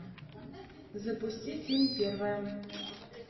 запусти фильм первая